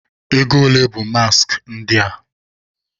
Ego ole bụ maaskị ndị a?